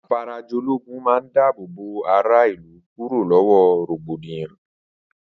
Afarajológun man dábòbò ará ìlú kúrò lọwọ rògbòdìyàn